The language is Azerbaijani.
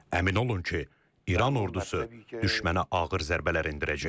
Əmin olun ki, İran ordusu düşmənə ağır zərbələr endirəcək.